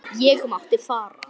Ég mátti fara.